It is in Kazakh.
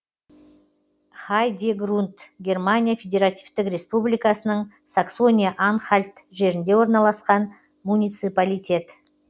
хайдегрунд германия федеративтік республикасының саксония анхальт жерінде орналасқан муниципалитет